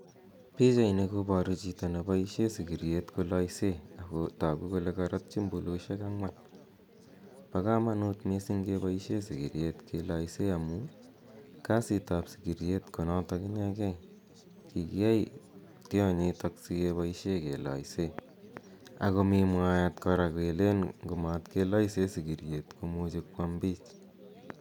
Pichaini kobaru chito ne boisien sigiriet kolaise ago tagu kole karotyi mbuluisiek angwan. Bo kamatut mising keboisien sigiriet keloise amu kasitab sigiriet konotok inegei. Kigiyai tionyitok sigeboisien keloisen. Ago mi mwaet kora kelen ngomatkeloisen sigiriet ko much kwam biich.